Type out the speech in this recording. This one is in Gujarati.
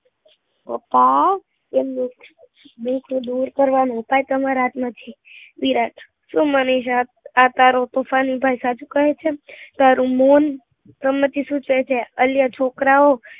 પપ્પા, એમનું બીજ દૂર કરવાનું ઉપાય તમારા હાથ માં પછી વિરાટ શું મનીષા આ તોફાની ભાઈ સાચુ કહે છેતારું મન સંમતિ શું કહે છે?